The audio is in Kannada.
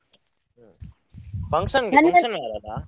Function .